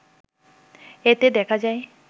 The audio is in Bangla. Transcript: এতে দেখা যায়